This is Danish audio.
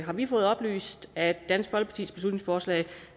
har vi fået oplyst at dansk folkepartis beslutningsforslag